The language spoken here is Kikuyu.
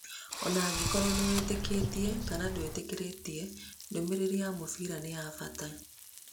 O na angĩkorũo nĩ wĩtĩkĩtie kana ndũgwĩtĩkĩtie-rĩ, ndũmĩrĩri yake ya mbĩrĩra-inĩ nĩ ya bata.